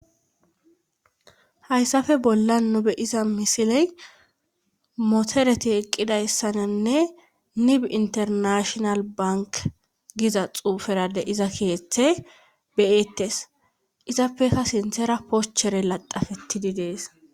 hayssafe bolla nobe iza misiley motoreti eqqidayssananne nib internashional bank giza xuuferade iza kiyethe beyettes izappekka sinthera poschere ladafetidi dees